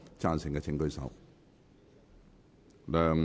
贊成的請舉手。